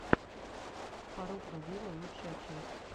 фарруко виво лучшая часть